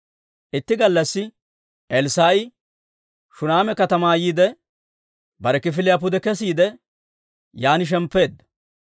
Itti gallassi Elssaa'i Shuneema katamaa yiide, bare kifiliyaa pude kesiide, yaan shemppeedda.